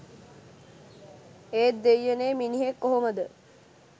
ඒත් දෙයියනේ මිනිහෙක් කොහොමද